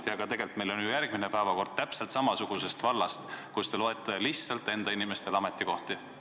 Tegelikult on meil ju ka järgmine päevakorrapunkt täpselt samast vallast, et te loote lihtsalt enda inimestele ametikohti.